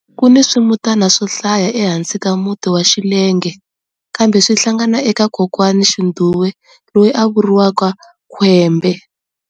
Kuni swimutana swo hlaya ehansi ka muti wa Xillenge, kambe swi hlangana eka Kokwanixindhuwe loyi a vuriwaka-Khwembe.